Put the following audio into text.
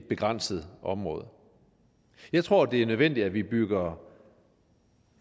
begrænset område jeg tror det er nødvendigt at vi bygger